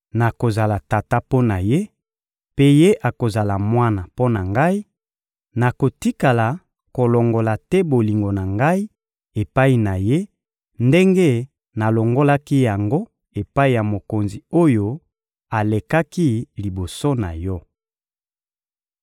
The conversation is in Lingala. Nakozala tata mpo na ye, mpe ye akozala mwana mpo na Ngai; nakotikala kolongola te bolingo na Ngai epai na ye ndenge nalongolaki yango epai ya mokonzi oyo alekaki liboso na yo.